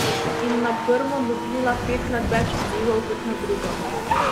In na prvo dobila petkrat več odzivov kot na drugo.